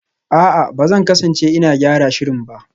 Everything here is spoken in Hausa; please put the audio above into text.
A'a, ba zan kasance ina gyara shirin ba